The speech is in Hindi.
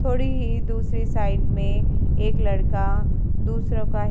थोड़ी ही दूसरी साइड में एक लड़का दुसरों का हे --